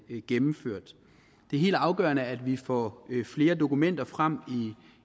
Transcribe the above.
gennemført det er helt afgørende at vi får flere dokumenter frem